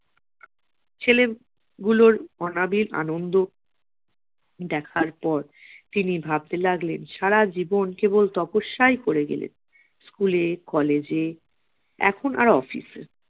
ছেলেগুলোর অনাবির আনন্দ দেখার পর তিনি ভাবতে লাগলেন সারা জীবন কেবল তপস্যাই করে গেলেন school এ college এ এখন আর office এ